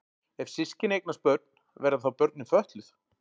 Ef systkini eignast börn verða þá börnin fötluð?